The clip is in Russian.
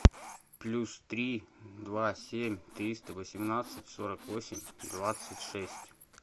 плюс три два семь триста восемнадцать сорок восемь двадцать шесть